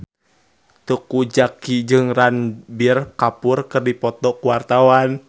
Teuku Zacky jeung Ranbir Kapoor keur dipoto ku wartawan